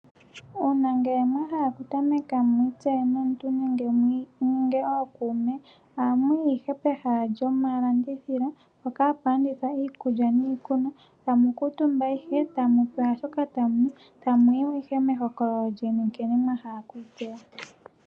Uuna ngele mwa hala oku tameka mwi itseye nenge ookuume, ohamu yi ihe pehala lyomalandithilo, mpoka hapu landithwa iikulya niikunwa, tamu kuutumba ihe, tamu pewa shoka tamu nu, tamu yi mo ihe meholokololo lyeni nkene mwa hala okwii tseya.